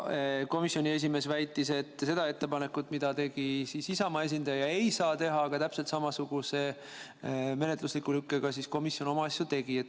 Komisjoni esimees väitis, et seda ettepanekut, mille tegi Isamaa esindaja, ei saa teha, aga täpselt samasuguse menetlusliku lükkega tegi komisjon oma asju.